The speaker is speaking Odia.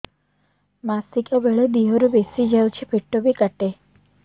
ମାସିକା ବେଳେ ଦିହରୁ ବେଶି ଯାଉଛି ପେଟ ବି କାଟେ